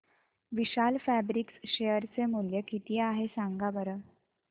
विशाल Fabrics share चे मूल्य किती आहे सांगा बरं